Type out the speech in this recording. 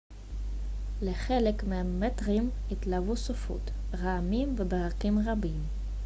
לחלק מהממטרים התלוו סופות רעמים וברקים רבים